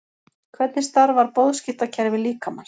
Hvernig starfar boðskiptakerfi líkamans?